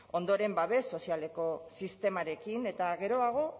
ondoren babes sozialeko sistemarekin eta geroago